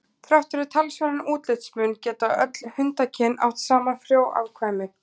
Þrátt fyrir talsverðan útlitsmun geta öll hundakyn átt saman frjó afkvæmi.